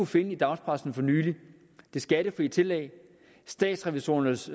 finde i dagspressen for nylig det skattefrie tillæg statsrevisorernes